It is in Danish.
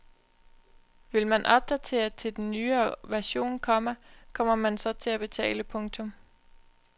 Vil man opdatere til en nyere version, komma kommer man så til at betale. punktum